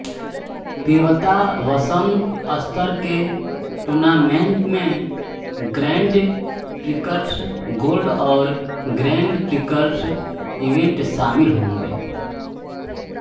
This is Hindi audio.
पेबतावसन स्तर के टूर्नामेंट में ग्रैंड प्रिक्स गोल्ड और ग्रैंड प्रिक्स इवेंट शामिल होंगे